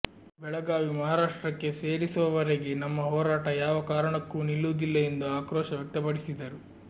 ಬೆಳಗಾವಿ ಮಹಾರಾಷ್ಟ್ರಕ್ಕೆ ಸೇರಿಸುವವರೆಗೆ ನಮ್ಮ ಹೋರಾಟ ಯಾವ ಕಾರಣಕ್ಕೂ ನಿಲ್ಲುವುದಿಲ್ಲ ಎಂದು ಆಕ್ರೋಶ ವ್ಯಕ್ತಪಡಿಸಿದರು